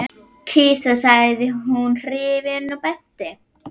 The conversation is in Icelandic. Kisa sagði hún hrifin og benti.